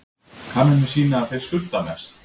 Kannanir sýna að þeir skulda mest